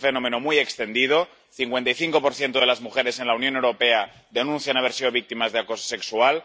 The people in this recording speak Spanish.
Este es un fenómeno muy extendido el 55 de las mujeres en la Unión Europea denuncian haber sido víctimas de acoso sexual